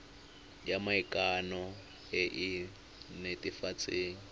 ya maikano e e netefatsang